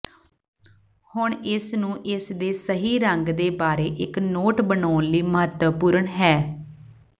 ਹੁਣ ਇਸ ਨੂੰ ਇਸ ਦੇ ਸਹੀ ਰੰਗ ਦੇ ਬਾਰੇ ਇਕ ਨੋਟ ਬਣਾਉਣ ਲਈ ਮਹੱਤਵਪੂਰਨ ਹੈ